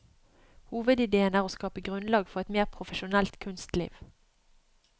Hovedidéen er å skape grunnlag for et mer profesjonelt kunstliv.